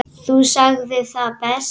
Þú sagðir það best.